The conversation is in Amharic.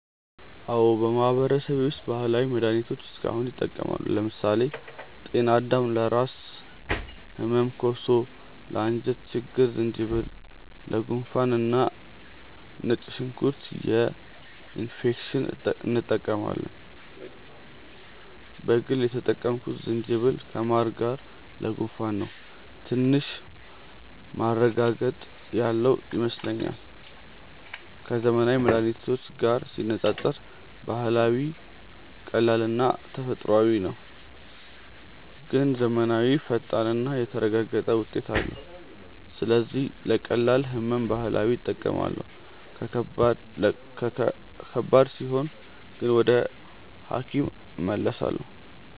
አዎን፣ በማህበረሰቤ ውስጥ ባህላዊ መድሃኒቶች እስካሁን ይጠቀማሉ። ለምሳሌ ጤናዳም ለራስ ህመም፣ ኮሶ ለአንጀት ችግኝ፣ ዝንጅብል ለጉንፋን እና ነጭ ሽንኩርት ለኢንፌክሽን እንጠቀማለን። በግል የተጠቀምኩት ዝንጅብልን ከማር ጋር ለጉንፋን ነው፤ ትንሽ ማረጋገጥ ያለው ይመስለኛል። ከዘመናዊ መድሃኒት ጋር ሲነጻጸር ባህላዊው ቀላልና ተፈጥሯዊ ነው፣ ግን ዘመናዊው ፈጣንና የተረጋገጠ ውጤት አለው። ስለዚህ ለቀላል ህመም ባህላዊ እጠቀማለሁ፣ ከባድ ሲሆን ግን ወደ ሐኪም እመለሳለሁ።